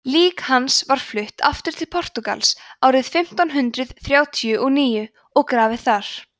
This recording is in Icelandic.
lík hans var flutt aftur til portúgals árið fimmtán hundrað þrjátíu og níu og grafið þar